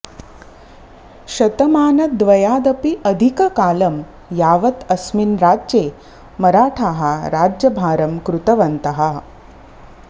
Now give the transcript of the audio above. शतमानद्वयादपि अधिककालं यावत् अस्मिन् राज्ये मराठाः राज्यभारं कृतवन्तः